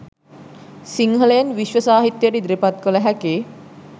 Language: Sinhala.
සිංහලයෙන් විශ්ව සාහිත්‍යයට ඉදිරිපත් කළ හැකි